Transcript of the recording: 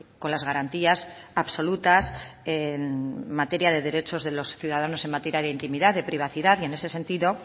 con las garantías absolutas en materia de derechos de los ciudadanos en materia de intimidad de privacidad en este sentido